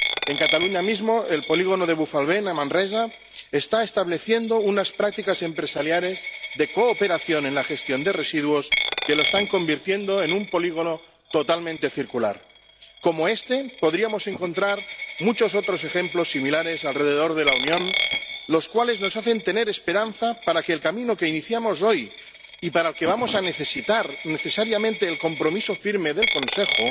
En Cataluña mismo, el polígono de Bufalvent, en Manresa, está estableciendo unas prácticas empresariales de cooperación en la gestión de residuos que lo están convirtiendo en un polígono totalmente circular. Como este, podríamos encontrar muchos otros ejemplos similares alrededor de la Unión, los cuales nos hacen tener esperanza para que el camino que iniciamos hoy —y para el que vamos a necesitar necesariamente el compromiso firme del Consejo—